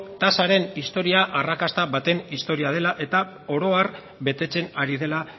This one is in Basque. tasaren historia arrakasta baten historia dela eta orohar betetzen ari dela